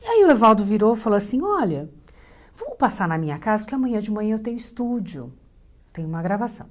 E aí o Evaldo virou e falou assim, olha, vamos passar na minha casa, porque amanhã de manhã eu tenho estúdio, tenho uma gravação.